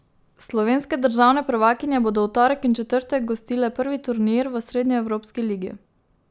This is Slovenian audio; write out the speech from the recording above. Slovenske državne prvakinje bodo v torek in četrtek gostile prvi turnir v srednjeevropski ligi.